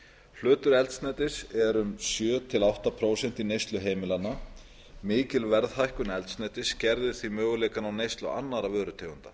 hlutur eldsneytis er um sjö prósent til átta prósent í neyslu heimilanna mikil verðhækkun eldsneytis skerðir því möguleikana á neyslu annarra vörutegunda